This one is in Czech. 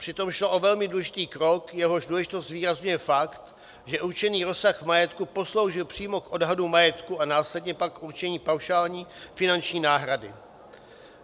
Přitom šlo o velmi důležitý krok, jehož důležitost zvýrazňuje fakt, že určený rozsah majetku posloužil přímo k odhadům majetku a následně pak k určení paušální finanční náhrady.